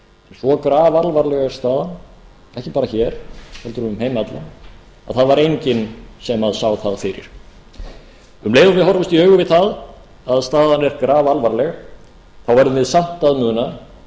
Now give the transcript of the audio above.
svo grafalvarleg er staðan ekki bara hér heldur um heim allan að það var enginn sem sá það fyrir um leið og við horfumst í augu við það að staðan er grafalvarleg verðum við samt að muna að